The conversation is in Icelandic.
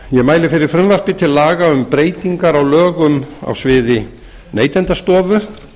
ég mæli fyrir frumvarpi til laga um breytingar á lögum á sviði neytendastofu